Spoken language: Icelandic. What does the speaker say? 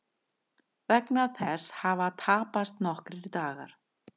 Vegna þess hafa tapast nokkrir dagar